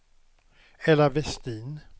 Ella Westin